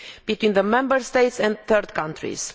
between the Member States and third countries.